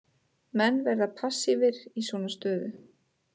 Menn verða passívir í svona stöðu.